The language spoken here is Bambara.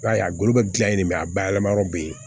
I b'a ye a golo be gilan yen a bayɛlɛma yɔrɔ be yen